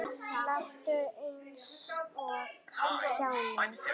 Láttu eins og kjáni.